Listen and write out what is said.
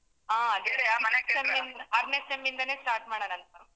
ಹಾ ಆರನೇ SEM ಇಂದಾನೇ start ಮಾಡೋಣ ಅನ್ಕೊಂಡು.